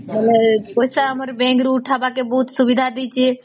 ଥଲେ ପଇସା ଆମର bank ରୁ ଉଥବାକେ ବହୁତ ସୁବିଧା ଦେଇଛେ